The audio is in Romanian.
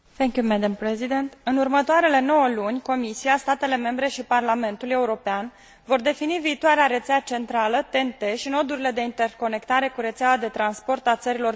În următoarele 9 luni Comisia, statele membre și Parlamentul European vor defini viitoarea rețea centrală TEN T și nodurile de interconectare cu rețeaua de transport a țărilor vecine Uniunii.